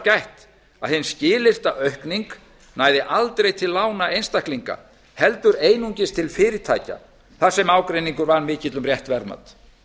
gætt að hin skilyrta aukning næði aldrei til lána einstaklinga heldur einungis til fyrirtækja þar sem ágreiningur var mikill um rétt verðmat